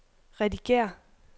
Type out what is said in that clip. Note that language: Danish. redigér